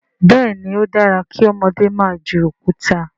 béèni o dára kí ọmọdé má jù Òkúta.